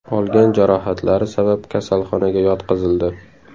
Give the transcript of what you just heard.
olgan jarohatlari sabab kasalxonaga yotqizildi.